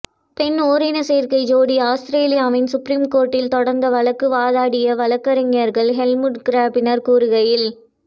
பெண் ஓரின சேர்க்கை ஜோடி ஆஸ்திரியாவின் சுப்ரீம் கோர்ட்டில் தொடர்ந்த வழக்கை வாதாடிய வழக்கு வழக்கறிஞர் ஹெல்முட் கிராப்னர் கூறுகையில்